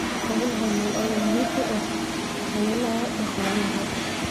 Xoolaha nool ayaa muhiim u ah hawlaha dhaqaalaha.